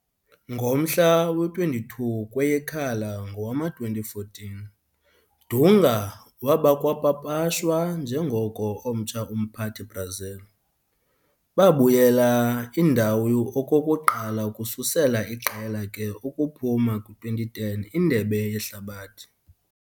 Ngomhla we-22 kweyekhala ngowama-2014, Dunga waba kwapapashwa njengoko omtsha umphathi-Brazil, babuyela indawo okokuqala ukususela iqela ke ukuphuma kwi-2010 Indebe Yehlabathi.